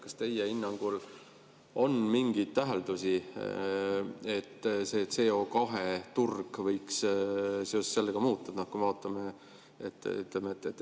Kas teie hinnangul on mingeid täheldusi, et CO2 turg võiks seoses sellega muutuda?